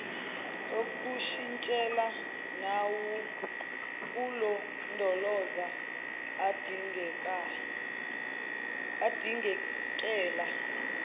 okushintshela nawokulondoloza adingekela